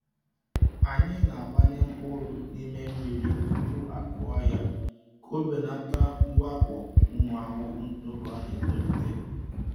Anyị na-agbanye mkpụrụ n’ime mmiri tupu akụọ ya ka ọ belata mwakpo ụmụ ahụhụ n’oge ọ na-etolite.